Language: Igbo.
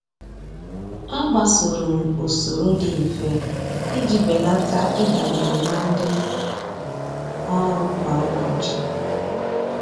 A gbasoro m usoro dị mfe iji belata ịdabere na ndị ọrụ kwa ụbọchị